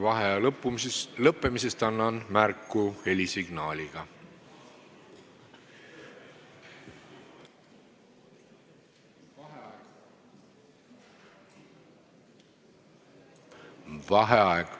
Vaheaja lõppemisest annan märku helisignaaliga.